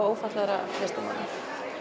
ófatlaðra listamanna